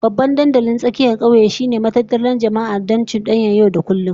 Babban dandalin tsakiyar kauye shine matattara jama'a don cudanyar yau da kullum